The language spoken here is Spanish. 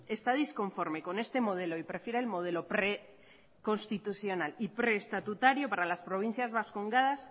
está disconforme con este modelo y prefiere el modelo preconstitucional y preestatutario para las provincias vascongadas